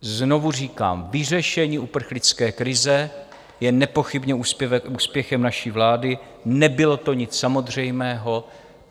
Znovu říkám, vyřešení uprchlické krize je nepochybně úspěchem naší vlády, nebylo to nic samozřejmého.